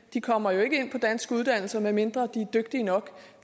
de kommer jo ikke ind på danske uddannelser medmindre de er dygtige nok